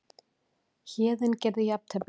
Héðinn gerði jafntefli